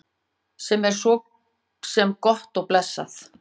Sem er svo sem gott og blessað.